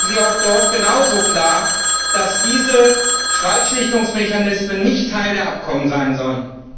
Fordern Sie auch dort genauso klar, dass diese Streitschlichtungsmechanismen nicht Teil der Abkommen sein sollen?